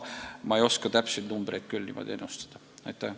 Aga täpseid numbreid ma küll ennustada ei oska.